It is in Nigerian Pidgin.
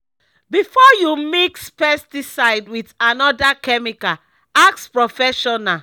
before you mix pesticide with another chemical ask professional.